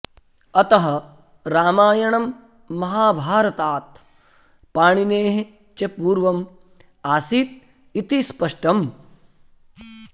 अतः रामायणं महाभारतात् पाणिनेः च पूर्वम् आसीत् इति स्पष्टम्